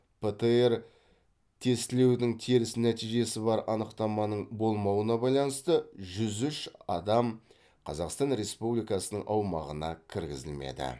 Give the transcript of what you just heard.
птр тестілеудің теріс нәтижесі бар анықтаманың болмауына байланысты жүз үш адам қазақстан республикасының аумағына кіргізілмеді